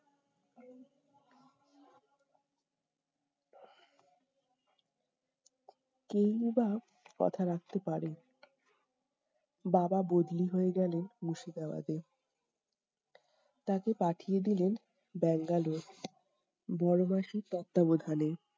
কে ই বা কথা রাখতে পারে? বাবা বদলি হয়ে গেলেন মুর্শিদাবাদে। তাকে পাঠিয়ে দিলেন বাঙ্গালুর বড় মাসির তত্ত্বাবধানে।